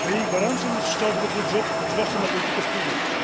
A jej gwarancją jest szczodry budżet, zwłaszcza na politykę spójności.